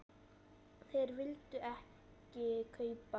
Þeir vildu ekki kaupa.